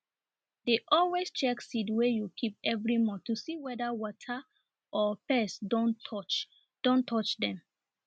dey always check seed wey you keep every month to see whether water or pest don touch don touch dem